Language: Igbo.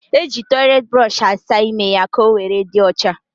E ji toiletiburoshi asa ímé ya ka owere dị ocha